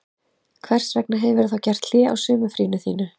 Hvers vegna hefurðu þá gert hlé á sumarfríinu þínu